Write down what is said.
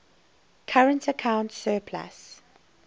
current account surplus